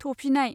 थफिनाय